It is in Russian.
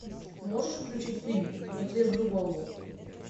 можешь включить фильм на трезвую голову